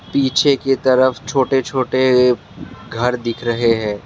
पीछे की तरफ छोटे छोटे घर दिख रहे हैं।